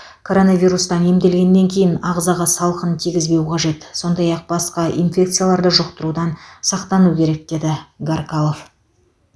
коронавирустан емделгеннен кейін ағзаға салқын тигізбеу қажет сондай ақ басқа инфекцияларды жұқтырудан сақтану керек деді гаркалов